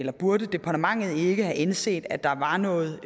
burde departementet ikke have indset at der var noget